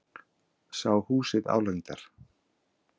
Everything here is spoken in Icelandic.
Sá húsið álengdar.